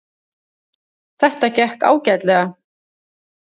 Þetta gekk ágætlega